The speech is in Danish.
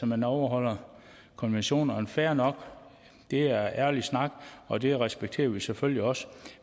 man overholder konventionerne og fair nok det er ærlig snak og det respekterer vi selvfølgelig også